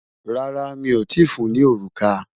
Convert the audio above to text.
Rárá, mi o tíì fun ní òrùka.